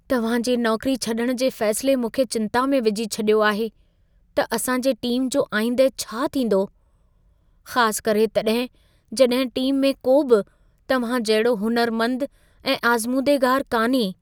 तव्हां जे नौकरी छॾण जे फैसिले मूंखे चिंता में विझी छॾियो आहे, त असां जे टीम जो आईंदह छा थींदो? ख़ास करे तॾहिं, जॾहिं टीम में को बि तव्हां जहिड़ो हुनरमंद ऐं आज़मूदेगार कान्हे।